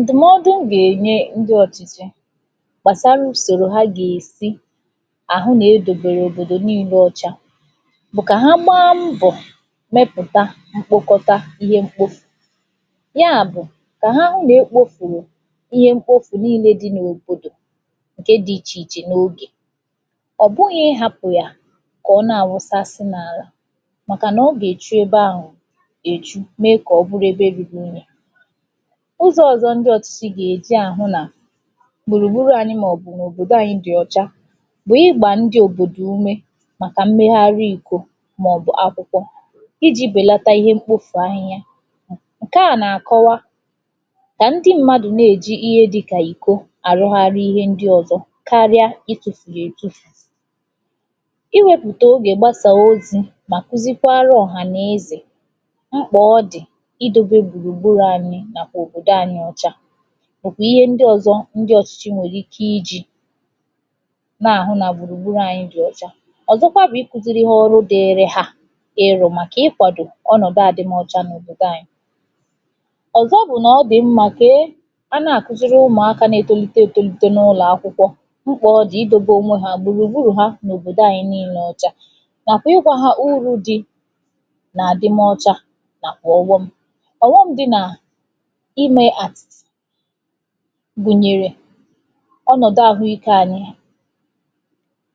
ǹdụ̀mọdụ m gà-ènye ndị ọ̀chịchị gbàsara ùsòrò ha gà-èsi àhụ nà edòbèrè òbòdò niile ọ̀cha bụ̀ kà ha gbaa mbọ̀ mepụ̀ta mkpokọta ihe mkpofù ya bụ̀ kà ha hụ nà epōpùrù ihe mkpofù niile di n’òbòdò ǹke di ichè ichè n’ogè ọ̀ bụghị̄ ịhapụ̀ ya kà ọ na-àwụsasị n’àlà màkànà ọ gà-èchu ebe ahụ̀ èchu mee kà ọ bụrụ ebe ruru unye ụzọ ọ̀zọ ndị ọ̀chịchị gà-èji àhụ nà gbùrùgburū ànyị màọbụ̀ na òbòdo anyị dị̀ ọ̀chà bụ̀ ịgà ndị òbòdò ume màkà mmegharị ìko màọbụ akwụkwọ ijī bèlata ihe mkpofù ahịhịa ǹke a nà-àkọwa kà ndị mmadụ̀ na-èji ihe dịkà ìko àrụgharị ihe ndị ọ̀zọ karịa itūfù ya ètufù iwēpụ̀ta ogè gbasaa ozī mà kụzịkwara ọ̀hà n’ezè mkpà ọ dì idōbe gbùrùgburū ànyị nàkwà òbòdò ànyị ọcha màọkwa ihe ndị ọ̀zọ ndị ọ̀chịchị nwèrè ike ijī na-àhụ nà gbùrùgburū ànyị dị ọ̀cha ọ̀zọkwa bụ̀ ịkụ̄sịrị ọrụ diri ha ịrụ̄ màkà ịkwàd ọnọ̀dụ àdịm ọcha n’òbodo ànya ọ̀zọ bụ nà ọ dì mmā ka a na-àkụzịrị umùaka na-etolite n’ụlọ̀akwụkwọ mkpà ọ dì ịdobe ònwe ha, gbùrùgburù ha n’òbòdo anyị niilē ọcha nàkwà ịgwā ha uru di nà àdị m ọcha màkà ọghọm ọ̀ghọm dị nà imē a gùnyèrè ọnọ̀dụ àhụ ike ànyị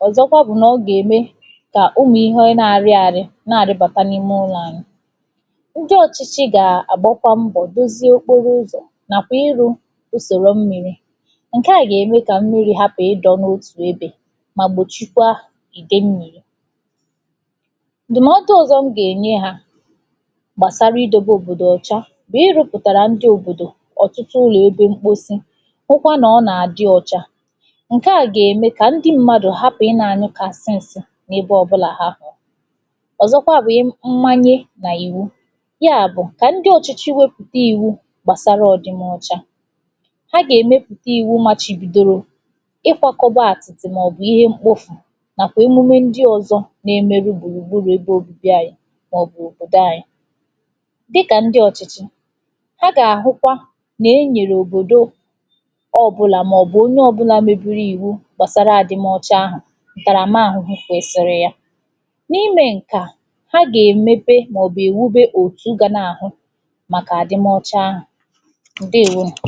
ọ̀zọkwa bụ̀ na ọ gà-ème kà umù ihe na-arịrị àrị na-arịbata n’ume ụlọ̄ ànyị ndị ọ̀chịchị g̀-àgbakwa mbọ̀ dozie okporo ụzò nàkwà ịrụ̄ usòro mmịrị̄ ǹke a gà-ème kà mmịrị̄ hapụ̀ idō n’otù ebe mà gbòchịkwa ìtè nni dìmatụ ọ̀zọ̀ m gà-enye ha gbàsara igdobe òbòdo ọ̀cha nà ịrị̄pụ̀tàrà ndị òbòdò ọ̀tụtụ ụlọ̀ ebe mkposi hụkwa nà ọ nà-àdị ọ̀cha ǹke a gà-ème kà ndị m̀madụ̀ hapụ̀ ị nà-ànyụkàsi ǹsi n’ebe ọ̀bụlà ha hụ̀rụ̀ ọ̀zọkwa bụ mmanya nà iwu ya bụ̀ kà ndị ọ̀chịchị wepụ̀ta ìwu gbàsara ọ̀ dịm ọcha ha gà-èmepụ̀ta ìwu machibìdoro ha gà-èmepụ̀ta ìwu machibìdoro àtị màọbụ̀ ihe mkpofù nàkwà emume ndị ọ̀zọ na-emeru gbùrùgburu ebe òbibi ànyị màọbụ̀ òbòdò ànyị dịkà ndị ọ̀chịchị ha gà-àhụkwa nà-enyèrè òbodo ọbụlà màọbụ onye ọ̀bụlà mebiri ìwu gbàsara àdịm ọcha ahụ̀ ǹtàrama àhụhụ kwesiri ya na ime ǹke a ha gà-èmepe màọbụ̀ èwube òtù ga na-àhụ màkà àdịm ọcha ahụ̀ ǹdewonu